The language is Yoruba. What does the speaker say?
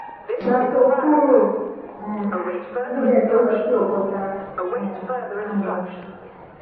ìgbà tóo kúrò um níbẹ̀ tóo lọ sí ọkọ́tà um á mọ̀